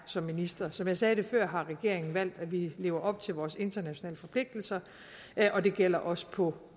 som minister som jeg sagde det før har regeringen valgt at vi lever op til vores internationale forpligtelser og det gælder også på